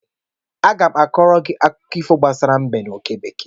M ga-akọọrọ gị akụkọ ifo gbasara mbe na oke bekee